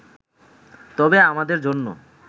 তবে আমাদের জন্য